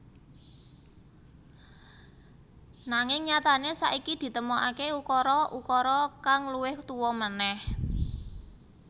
Nanging nyatané saiki ditemokaké ukara ukara kang luwih tuwa manèh